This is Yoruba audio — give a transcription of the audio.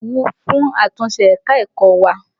Orí mi wù fún àtúnṣé ẹ̀ka-ẹ̀kọ́ wa.